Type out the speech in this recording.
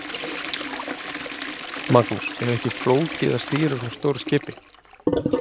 Magnús: Er ekkert flókið að stýra svona stóru skipi?